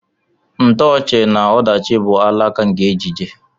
Ntoochi na ọdachi bụ alaka nke ejije.